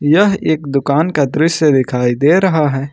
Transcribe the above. यह एक दुकान का दृश्य दिखाई दे रहा है।